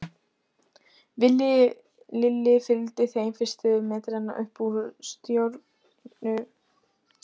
Villi Lilli fylgdi þeim fyrstu metrana upp úr stórgrýttu fjöruborðinu.